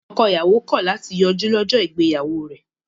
Ọkọ-ìyàwó kọ̀ láti yọjú lọ́jọ́ ìgbéyàwó rẹ̀.